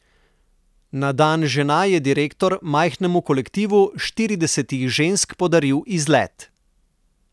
Na dan žena je direktor majhnemu kolektivu štiridesetih žensk podaril izlet.